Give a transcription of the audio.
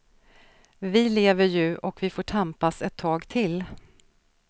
Vi lever ju och vi får tampas ett tag till.